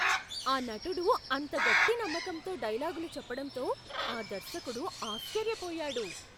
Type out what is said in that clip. ఆ నటుడు అంత గట్టి నమ్మకంతో డైలాగులు చెప్పడంతో ఆ దర్శకుడు ఆశ్చర్యపోయాడు.